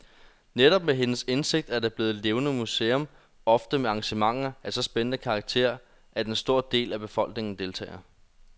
Netop med hendes indsigt er det blevet et levende museum, ofte med arrangementer af så spændende karakter, at en stor del af befolkningen deltager.